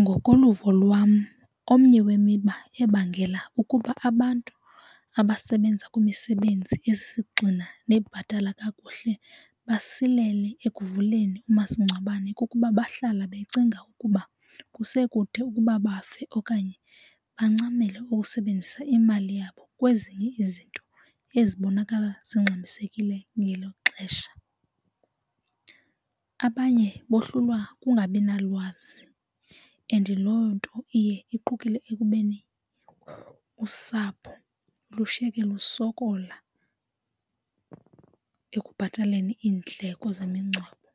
Ngokoluvo lwam omnye wemiba ebangela ukuba abantu abasebenza kwimisebenzi ezisisigxina nebhatala kakuhle basilele ekuvuleni umasingcwabane kukuba bahlala becinga ukuba kusekude ukuba bafe okanye bancamela ukusebenzisa imali yabo kwezinye izinto ezibonakala zingxamisekile ngelo xesha. Abanye bohlulwa kungabi nalwazi and loo nto iye iqukule ekubeni usapho lushiye ke lusokola ekubhataleni iindleko zemingcwabo